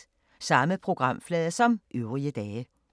Samme programflade som øvrige dage